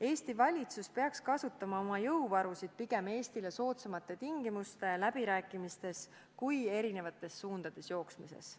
Eesti valitsus peaks oma jõuvaru kasutama pigem Eestile soodsamate tingimuste üle läbirääkimiseks kui eri suundades jooksmiseks.